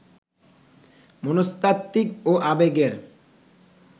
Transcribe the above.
মনস্তাত্ত্বিক ও আবেগের